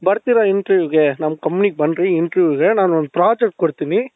ಬರ್ತೀರಾ interviewಗೆ ನಮ್ company ಗೆ ಬನ್ರಿ interview ಇದೆ ನಾನು ಒಂದು project ಕೊಡ್ತೀನಿ